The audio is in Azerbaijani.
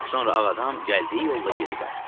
Sonra ağ adam gəldiyi yolla geri qayıtdı.